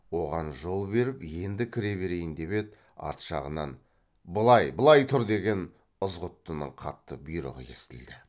оған жол беріп енді кіре берейін деп еді арт жағынан былай былай тұр деген ызғұттының қатты бұйрығы естілді